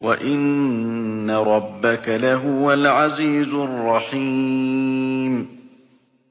وَإِنَّ رَبَّكَ لَهُوَ الْعَزِيزُ الرَّحِيمُ